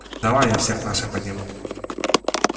давай я всех наших подниму